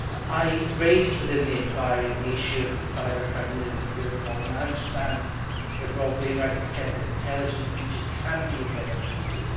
I raised within the inquiry the issue of the cybercrime unit of Europol, and I understand that Rob Wainwright has said that intelligence breaches can be investigated.